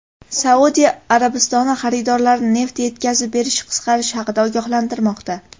Saudiya Arabistoni xaridorlarni neft yetkazib berish qisqarishi haqida ogohlantirmoqda.